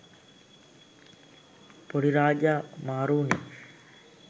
පොඩි රාජා මාරු උනේ